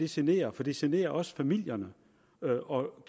generer for det generer også familierne og